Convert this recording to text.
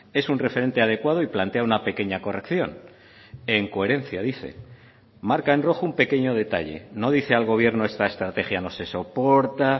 es un referente adecuado y plantea una pequeña corrección en coherencia dice marca en rojo un pequeño detalle no dice al gobierno esta estrategia no se soporta